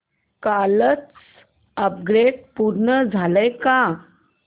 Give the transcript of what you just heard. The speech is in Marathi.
कालचं अपग्रेड पूर्ण झालंय का